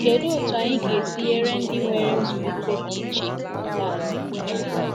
Kedụ otú anyị ga-esi nyere ndị nwere nzụlite dị iche aka?